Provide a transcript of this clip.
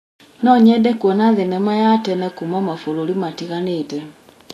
No nyende kuona thenema ya tene kuuma mabũrũri matiganĩte.